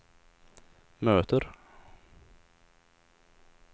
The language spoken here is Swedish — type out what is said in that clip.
möter